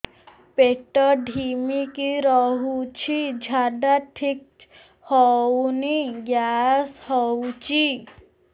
ପେଟ ଢିମିକି ରହୁଛି ଝାଡା ଠିକ୍ ହଉନି ଗ୍ୟାସ ହଉଚି